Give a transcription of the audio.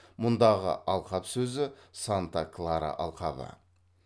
мұндағы алқап сөзі санта клара алқабы